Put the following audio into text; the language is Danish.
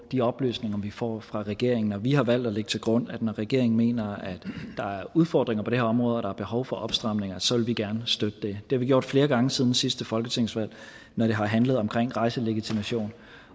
de oplysninger vi får fra regeringen og vi har valgt at lægge til grund at når regeringen mener at der er udfordringer på det her område og er behov for opstramninger så vil vi gerne støtte det det har vi gjort flere gange siden sidste folketingsvalg når det har handlet om rejselegitimation